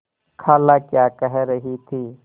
खाला क्या कह रही थी